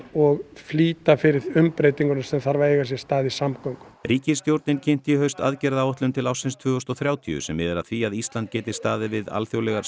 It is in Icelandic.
og flýta fyrir umbreytingum sem þurfa að eiga sér stað í samgöngum ríkisstjórnin kynnti í haust aðgerðaráætlun til ársins tvö þúsund og þrjátíu sem miðar að því að Ísland geti staðið við alþjóðlegar